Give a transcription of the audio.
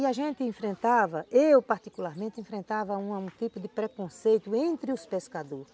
E a gente enfrentava, eu particularmente, enfrentava um tipo de preconceito entre os pescadores.